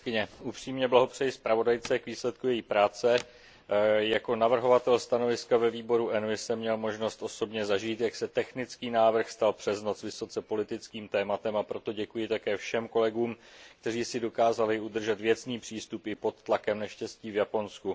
Paní předsedající, upřímně blahopřeji zpravodajce k výsledku její práce. Jako navrhovatel stanoviska ve výboru ENVI jsem měl možnost osobně zažít, jak se technický návrh stal přes noc vysoce politickým tématem, a proto děkuji také všem kolegům, kteří si dokázali udržet věcný přístup i pod tlakem neštěstí v Japonsku.